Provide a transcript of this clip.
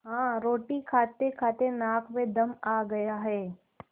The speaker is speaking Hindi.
हाँ रोटी खातेखाते नाक में दम आ गया है